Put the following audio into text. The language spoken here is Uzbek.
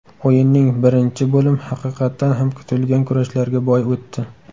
O‘yinning birinchi bo‘lim haqiqatdan ham kutilgan kurashlarga boy o‘tdi.